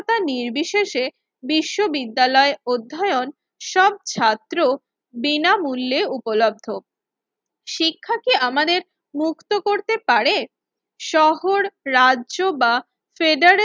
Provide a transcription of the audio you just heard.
তা নির্বিশেষে বিশ্ববিদ্যালয় অধ্যায়ন সব ছাত্র বিনামূল্যে উপলব্ধ। শিক্ষা কি আমাদের মুক্ত করতে পারে? শহর রাজ্য বা ফেডারে